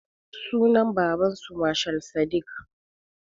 Sunan babansu mashal sadik